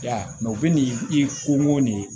I y'a ye u bɛ nin i ko nin ye